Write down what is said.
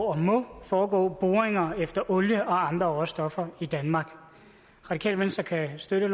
og må foregå boringer efter olie og andre råstoffer i danmark radikale venstre kan støtte